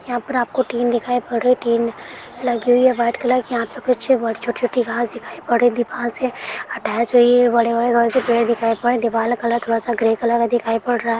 यहाँ पर आपको टीन दिखाई पड़ रइ टीन लगी हुई है व्हाइट कलर की यहाँ पे कुछ ब् छोटी छोटी घास दिखाई पड़ रही दीवाल से अटैच हुई है बड़े बड़े घ से पेड़ दिखाई पड़ रे दीवाल का कलर थोड़ा सा ग्रे कलर है दिखाई पड़ रा है।